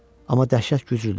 Amma dəhşət güclüdür.